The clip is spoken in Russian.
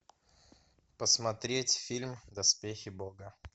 посмотреть фильм доспехи бога